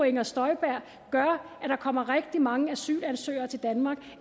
inger støjberg gør at der kommer rigtig mange asylansøgere til danmark